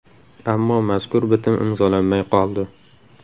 Ammo mazkur bitim imzolanmay qoldi.